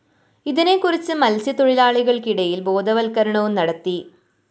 ഇതിനെ കുറിച്ചു മത്‌സ്യ തൊഴിലാളികള്‍ക്ക് ഇടയില്‍ ബോധവത്ക്കരണവും നടത്തി